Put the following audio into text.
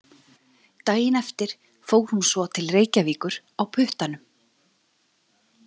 Daginn eftir fór hún svo til Reykjavíkur á puttanum.